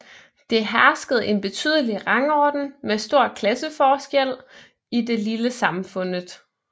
Det hersket en betydelig rangorden med stor klasseforskjell i det lille samfunnet